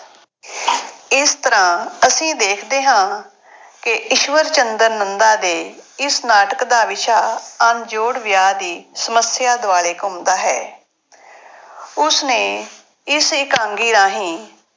ਇਸ ਤਰ੍ਹਾਂ ਅਸੀਂ ਦੇਖਦੇ ਹਾਂ ਕਿ ਈਸ਼ਵਰ ਚੰਦਰ ਨੰਦਾ ਦੇ ਇਸ ਨਾਟਕ ਦਾ ਵਿਸ਼ਾ ਅਣਜੋੜ ਵਿਆਹ ਦੀ ਸਮੱਸਿਆ ਦੁਆਲੇ ਘੁੰਮਦਾ ਹੈ। ਉਸ ਨੇ ਇਸ ਇਕਾਂਗੀ ਰਾਹੀਂ